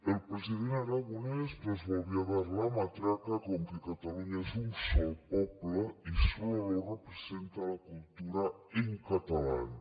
el president aragonès nos volvió a dar la matraca con que cataluña és un sol poble y solo lo representa la cultura en catalán